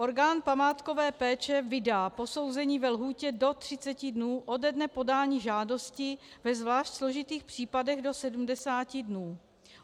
Orgán památkové péče vydá posouzení ve lhůtě do 30 dnů ode dne podání žádosti, ve zvlášť složitých případech do 70 dnů.